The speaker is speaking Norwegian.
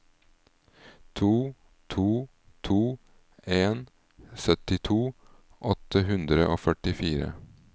to to to en syttito åtte hundre og førtifire